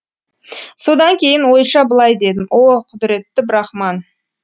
содан кейін ойша былай дедім о құдіретті брахман